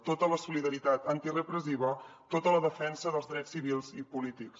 tota la solidaritat antirepressiva tota la defensa dels drets civils i polítics